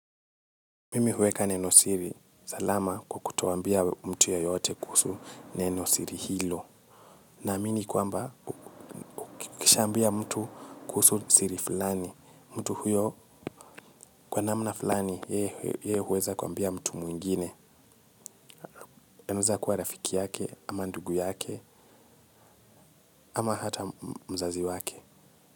Mimi huweka neno siri. Salama kwa kutoambia mtu yeyote kuhusu neno siri hilo. Naamini kwamba, ukishaambia mtu kuhusu siri fulani. Mtu huyo kwa namna fulani, ye huweza kwambia mtu mwingine. Aneza kua rafiki yake, ama ndugu yake, ama hata mzazi wake.